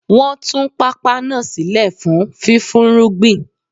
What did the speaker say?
Wọ́n tún pápá náà sílẹ̀ fún fífúnrúgbìn